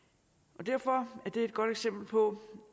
derfor er det et godt eksempel på